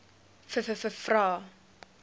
vvvvrae